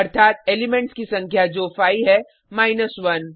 अर्थात एलिमेंट्स की संख्या जो 5 है माइनस 1